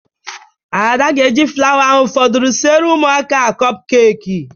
Ada ga-eji flawa ahụ fọdụrụ siere ụmụaka a kọp keeki.